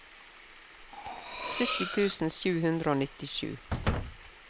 sytti tusen sju hundre og nittisju